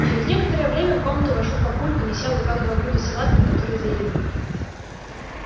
через некоторое время в комнату вошёл папулька неся в руках два блюда с салатами который заявил